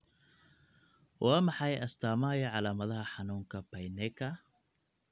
Waa maxay astamaha iyo calaamadaha xanuunka Paineka?